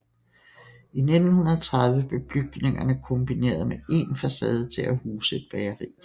I 1930 blev bygningerne kombineret med én facade til at huse et bageri